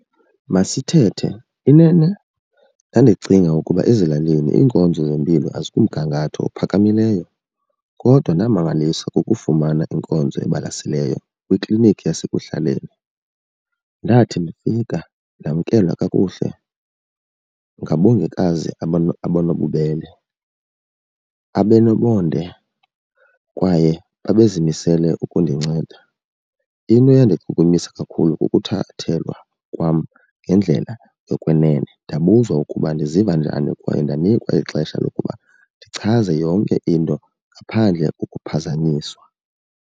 Masithethe inene ndandicinga ukuba ezilalini iinkonzo zempilo azikumgangatho ophakamileyo kodwa ndamangaliswa kukufumana inkonzo ebalaseleyo kwiklinikhi yasekuhlaleni. Ndathi ndifika ndamkelwa kakuhle ngaboongikazi abanobubele, abanomonde kwaye babezimisele ukundinceda. Into eyandichukumisa kakhulu kukuthathelwa kwam ngendlela yokwenene. Ndabuzwa ukuba ndiziva njani kwaye ndanikwa ixesha lokuba ndichaze yonke into ngaphandle kokuphazanyiswa.